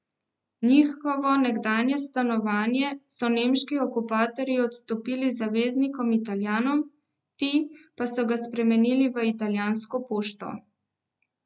Njihovo nekdanje stanovanje so nemški okupatorji odstopili zaveznikom Italijanom, ti pa so ga spremenili v italijansko pošto.